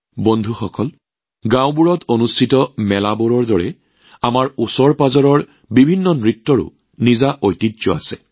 বন্ধুসকল প্ৰতিখন গাঁৱত অনুষ্ঠিত হোৱা মেলাবোৰৰ দৰেই ইয়াৰ বিভিন্ন নৃত্যৰো নিজস্ব ঐতিহ্যৰ অধিকাৰী